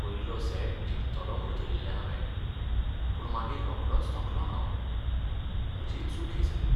पयलो सेट जिखतलों म्हूण धरिल्लें हांवें, पूण मागीर रोखडोच थकलों हांव. म्हजीच चूक ही सगळी.